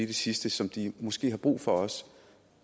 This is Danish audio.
det sidste som de måske også har brug for